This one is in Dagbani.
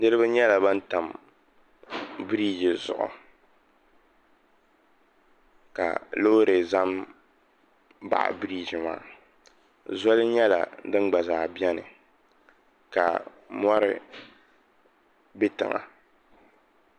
Niriba nyɛla ban tam birigi zuɣu ka loori za nbaɣi birigi maa zoli nyɛla din gba zaa bɛni ka mori bɛ tiŋa.